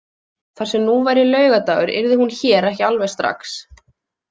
Þar sem nú væri laugardagur yrði hún hér ekki alveg strax.